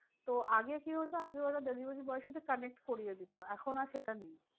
তো আগে কি হতো আগে ওরা delivery boy এর সাথে connect করিয়ে দিত। এখন আর সেটা নেই।